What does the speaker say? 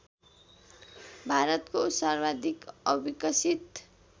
भारतको सर्वाधिक अविकसित